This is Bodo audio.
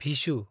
भिशु